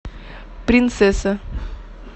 принцесса